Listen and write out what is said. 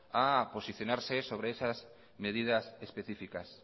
a posicionarse sobres esas medidas específicas